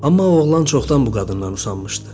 Amma oğlan çoxdan bu qadından usanmışdı.